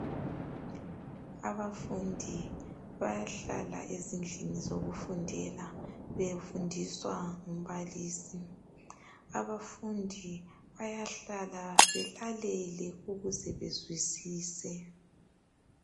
Abafundi bayahlala ezindlini zokufundela befundiswa ngumbalisi abafundi bayahlala belalele ukuze bezwisise